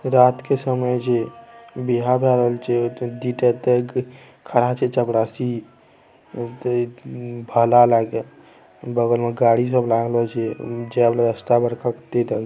रात के समय जे विहा भरहल छे खड़ा छै चपरासी भला लाके बगल में गाड़ी सब लगेलो छे --